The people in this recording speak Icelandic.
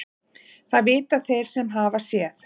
Það vita þeir sem hafa séð.